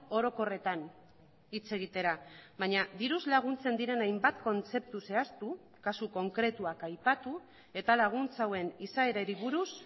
orokorretan hitz egitera baina diruz laguntzen diren hainbat kontzeptu zehaztu kasu konkretuak aipatu eta laguntza hauen izaerari buruz